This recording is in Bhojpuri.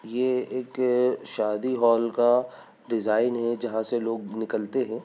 ये एक शादी हॉल का डिजाइन है जहाँ से लोग निकलते हैं।